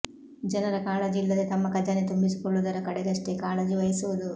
ಜನಪರ ಕಾಳಜಿ ಇಲ್ಲದೆ ತಮ್ಮ ಖಜಾನೆ ತುಂಬಿಸಿಕೊಳ್ಳುವುದರ ಕಡೆಗಷ್ಟೇ ಕಾಳಜಿ ವಹಿಸಿದವು